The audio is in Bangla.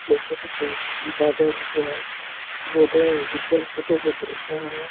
এই ফটো টো বাজারের ব্যাগ যেটা নিজের ফটো বটেযাআআআ--